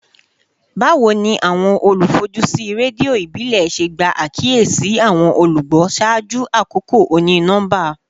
Bawo ni awọn olufojusi redio ibile ṣe gba akiyesi awọn olugbo ṣaaju akoko oni-nọmba?